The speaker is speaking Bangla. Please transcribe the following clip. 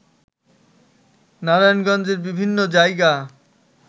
নারায়ণগঞ্জের বিভিন্ন জায়গা